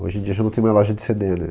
Hoje em dia já não tem mais loja de ce de né?